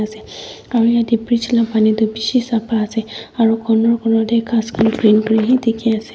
se aru yatae bridge la pani tu bishi sapa ase aro corner corner tae ghas khan green green he dikhiase.